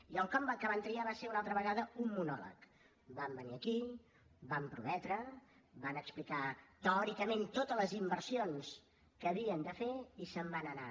i el com que van triar va ser una altra vegada un monòleg van venir aquí van prometre van explicar teòricament totes les inversions que havien de fer i se’n van anar